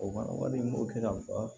O fana wari min bɛ se ka faga